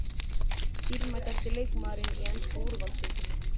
Dýrmætasti leikmaðurinn í ensku úrvalsdeildinni?